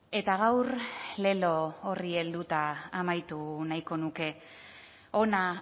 eta gaur lelo horri helduta amaitu nahiko nuke hona